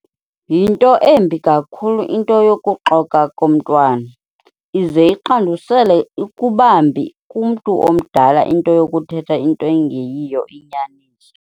Yinto embi kakhulu into yokuxoka komntwana, ize iqandusele ukubambi kumntu omdala into yokuthetha into engeyiyo inyaniso.